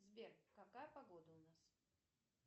сбер какая погода у нас